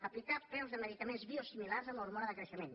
aplicar preus de medicaments biosimilars amb l’hormona de creixement